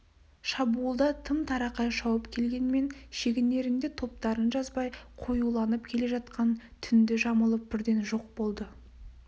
шабуылда тым-тырақай шауып келгенмен шегінерінде топтарын жазбай қоюланып келе жатқан түнді жамылып бірден жоқ болды